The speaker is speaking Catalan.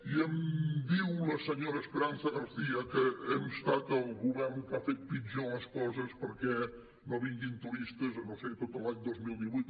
i em diu la senyor esperanza garcía que hem estat el govern que ha fet pitjor les coses perquè no vinguin turistes no ho sé tot l’any dos mil divuit